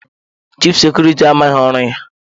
Chif sekuriti ahụ amaghị ọrụ ya.